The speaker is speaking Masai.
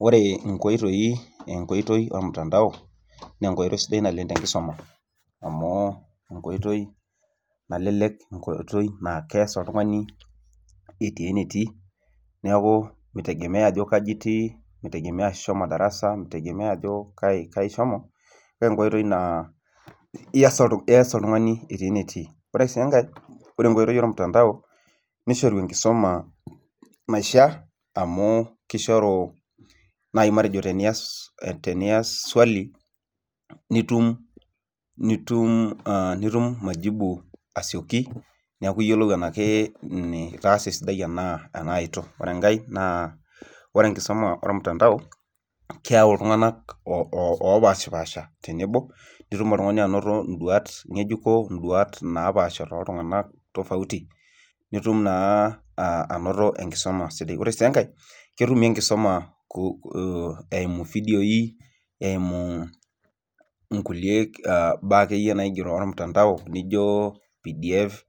Oore inkoitoi enkoitoi ormutandao, naa enkoitoi idai naleng' tenkisuma, amuu enkoitoi nalelek naa kias oltung'ani etii enetii, niaku meitegemea ajo kaaji itii, meitegemea aajo ishomo darasa, meitegemea aajo kaaji ishomo, naa enkoitoi naa ias oltung'ani etii enetii. Oore sii enkae, oore enkoitoi ormutandao neishoru enkisoma naishiaa, amuu keishoru naaji matejo tenias swali, nitum majibu asioki, niaku iyiolou enaa itaasa esidai enaa eitu. Oore enkae naa oore enkisoma ormutandao, keyau iltung'anak opaashopaasha tenebo, nitum oltung'ani anoto in'duaat ng'ejuko in'duat napaasha toltung'anak tofauti, nitum naa anoto enkisoma sidai. Oore sii enkae ketumi enkisuma eimu ividioi, eimu inkulie baa akeyie ormutandao, nijo PDF,